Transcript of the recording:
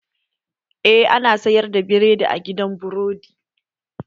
Eh, ana sayar da biredi a gidan burodi